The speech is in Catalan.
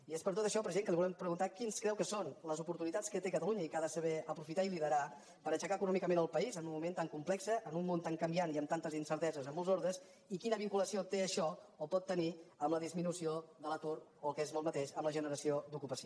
i és per tot això president que li volem preguntar quines creu que són les oportunitats que té catalunya i que ha de saber aprofitar i liderar per aixecar econòmicament el país en un moment tan complex en un món tan canviant i amb tantes incerteses en molts ordres i quina vinculació té això o pot tenir amb la disminució de l’atur o amb el que és el mateix amb la generació d’ocupació